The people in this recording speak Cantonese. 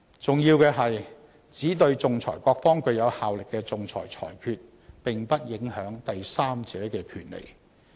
重要的是，只對仲裁各方具有效力的仲裁裁決，並不影響第三者的權利。